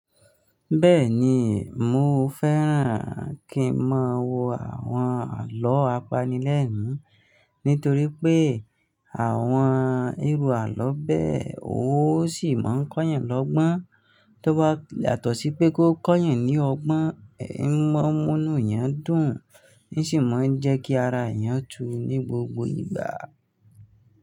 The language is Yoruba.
Bẹ́ẹ̀ni, mò fẹ́ràn kí n máa wo àwọn àlọ́ apanilẹ́nu nítorí pé àwọn irú àlọ́ bẹ́ẹ̀ ó sì máa ń kọ́yàn lọ́gbọ́n. Tó bá yàtọ̀ sí pé kó kọ́yàn ní ọgbọ́n, ìmọ̀ọ́mọnu yẹn dùn, ní sì máa ń jẹ́ kí ara èèyàn tu ní gbogbo ìgbà.